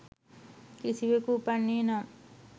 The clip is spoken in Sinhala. කිසිවකු උපන්නේ නම්